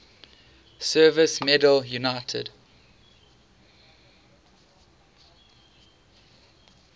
service medal united